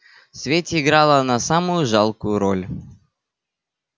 в свете играла она самую жалкую роль